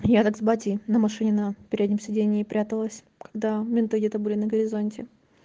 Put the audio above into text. я так с батей на машине на переднем сидении пряталась когда менты где-то были на горизонте